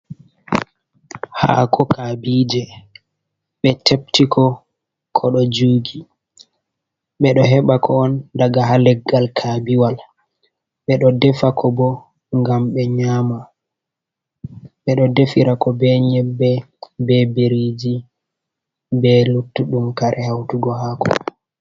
Haako kabije ɓe teptiko ko ɗo jugi. Ɓeɗo heɓa ko daga ha leggal kabiwal. Ɓeɗo defa ko bo ngam ɓe nyama. Ɓeɗo defira ko be nyebbe, be biriji, be luttuɗum kare hautugo haako.